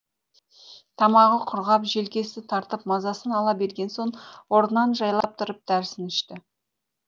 тамағы құрғап желкесі тартып мазасын ала берген соң орнынан жайлап тұрып дәрісін ішті